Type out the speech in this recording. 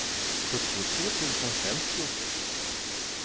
sjuttiotre tusen femtiosex